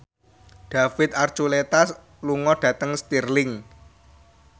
David Archuletta lunga dhateng Stirling